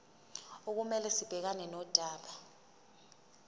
okumele sibhekane nodaba